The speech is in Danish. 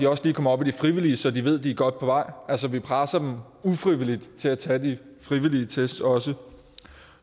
også lige kommer op i de frivillige så de ved at eleverne er godt på vej altså vi presser dem ufrivilligt til at tage de frivillige test også